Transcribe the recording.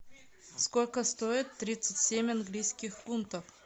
сколько стоит тридцать семь английских фунтов